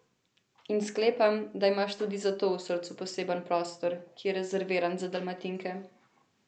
In sklepam, da imaš tudi zato v srcu poseben prostor, ki je rezerviran za Dalmatinke.